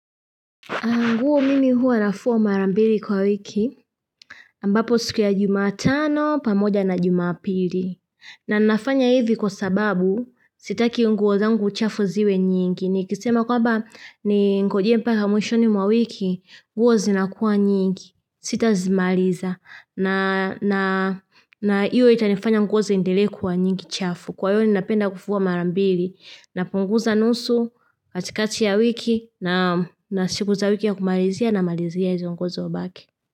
Nguo mimi huwa nafua mara mbili kwa wiki, ambapo siku ya jumatano, pamoja na jumapili. Na nafanya hivi kwa sababu sitaki nguo zangu chafu ziwe nyingi. Nikisema kwamba ningoje mpaka mwishoni mwa wiki, nguo zinakuwa nyingi, sitazimaliza na na hiyo itanifanya nguo ziendelee kuwa nyingi chafu, kwa hio ninapenda kufua mara mbili. Napunguza nusu katikati ya wiki naam na siku za wiki ya kumalizia namalizia izo nguo zimebaki.